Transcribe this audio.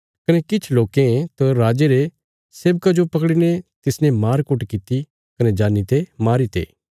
कने किछ लोकें त राजे रे सेवका जो पकड़ीने तिसने मारकुट किति कने जानी ते मारीते